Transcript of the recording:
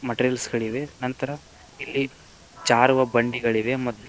Materials ಗಳಿವೆ ನಂತರ ಇಲ್ಲಿ ಜಾರುವ ಬಂಡೆಗಳಿವೆ ಮತ್ತು.